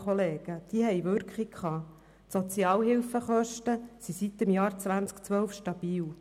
Seit dem Jahr 2012 sind die Sozialhilfekosten stabil.